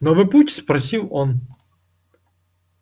новый путь спросил он